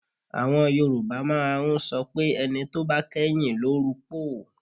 Àwọn Yorùbá máa ń sọ pé ẹni tó bá kẹ́yìn ló rupòó